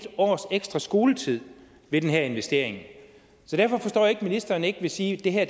en års ekstra skoletid ved den her investering derfor forstår jeg ikke ministeren ikke vil sige at det her